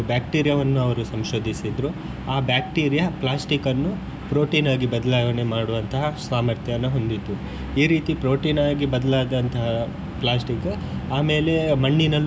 ಬ್ಯಾಕ್ಟೀರಿಯಾವನ್ನು ಅವರು ಸಂಶೋದಿಸಿದ್ರು ಆ ಬ್ಯಾಕ್ಟೀರಿಯಾ ಪ್ಲಾಸ್ಟಿಕನ್ನು ಪ್ರೊಟೀನ್ ಆಗಿ ಬದಲಾವಣೆ ಮಾಡುವಂತಹ ಸಾಮರ್ಥ್ಯವನ್ನು ಹೊಂದಿತ್ತು ಈ ರೀತಿ ಪ್ರೊಟೀನ್ ಆಗಿ ಬದಲಾದಂತಹ ಪ್ಲಾಸ್ಟಿಕ್ ಆಮೇಲೆ ಮಣ್ಣಿನಲ್ಲೂ.